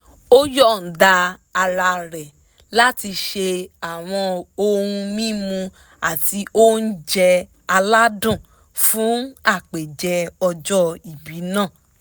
ó yọ̀ǹda ara rẹ̀ láti ṣe àwọn ohun mímu àti oúnjẹ aládùn fún àpèjẹ ọjọ́ ìbí náà